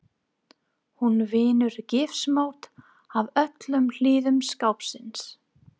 Hún vinnur gifsmót af öllum hliðum skápsins.